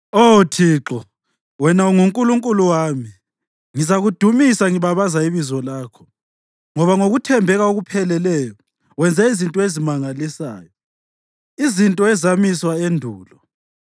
Oh Thixo, wena unguNkulunkulu wami; ngizakudumisa ngibabaza ibizo lakho ngoba ngokuthembeka okupheleleyo, wenze izinto ezimangalisayo, izinto ezamiswa endulo.